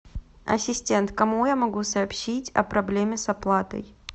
ассистент кому я могу сообщить о проблеме с оплатой